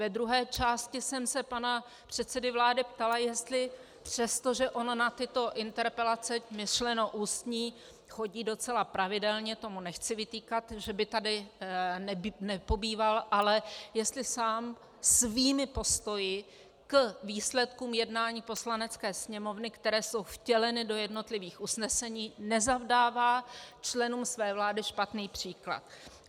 Ve druhé části jsem se pana předsedy vlády ptala, jestli - přestože on na tyto interpelace, myšleno ústní, chodí docela pravidelně, to mu nechci vytýkat, že by tady nepobýval, ale jestli sám svými postoji k výsledkům jednání Poslanecké sněmovny, které jsou vtěleny do jednotlivých usnesení, nezavdává členům své vlády špatný příklad.